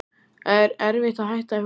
Er erfitt að hætta í fótbolta?